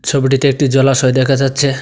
ছবিটিতে একটি জলাশয় দেখা যাচ্চে।